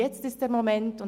Jetzt ist der Moment!».